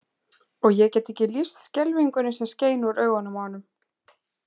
Og ég get ekki lýst skelfingunni sem skein úr augunum á honum.